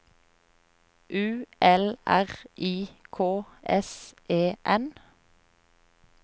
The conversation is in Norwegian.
U L R I K S E N